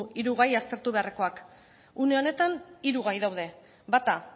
hiru gai aztertu beharrekoak une honetan hiru gai daude bata